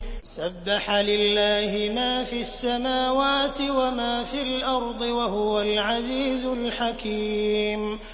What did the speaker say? سَبَّحَ لِلَّهِ مَا فِي السَّمَاوَاتِ وَمَا فِي الْأَرْضِ ۖ وَهُوَ الْعَزِيزُ الْحَكِيمُ